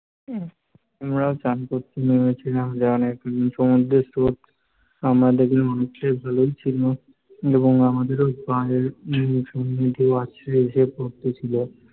আমরা ও স্নান করতে নেমেছিলাম সমুদ্রের স্রোত আমাদের সময় ও ভালোই ছিলো এবং আমাদের ও পায়ের কাছে আছড়ে এসে পড়তেছিলো